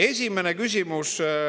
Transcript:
Esimene küsimus.